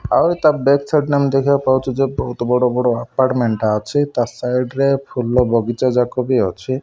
ଆଉ ତା back side ନେ ଆମେ ଦେଖିବାକୁ ପାଉଚୁ ଯେ ବୋହୁତ ବଡ଼ ବଡ଼ ଆପାର୍ଟମେଣ୍ଟ ଟା ଅଛି। ତା ସାଇଡ ରେ ଫୁଲ ବଗିଚାଯାକ ବି ଅଛି।